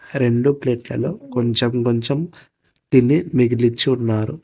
రెండు ప్లేట్లలో కొంచెం కొంచెం తిని మిగిలిచ్చి ఉన్నారు.